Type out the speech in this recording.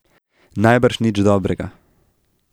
Najbrž nič dobrega.